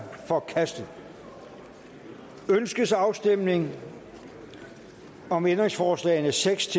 forkastet ønskes afstemning om ændringsforslagene seks